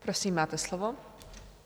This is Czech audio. Prosím, máte slovo.